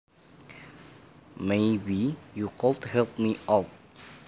Maybe you could help me out